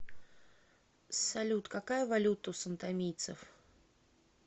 салют какая валюта у сантомийцев